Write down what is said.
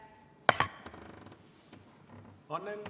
Aitäh!